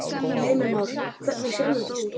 Heimir Már: Hvernig sérðu það út?